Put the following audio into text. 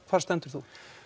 hvar stendur þú